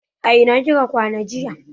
A ina kika kwana jiya?